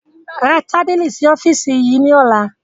Ra tábìlì sì ọ́fíìsì yìí ni ọ̀la!